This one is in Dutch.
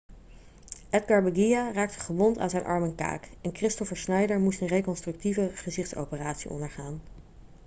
edgar veguilla raakte gewond aan zijn arm en kaak en kristoffer schneider moest een reconstructieve gezichtsoperatie ondergaan